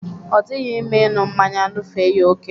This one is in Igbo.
Odighi mma ịṅụ mmanya ṅụfee ya ókè.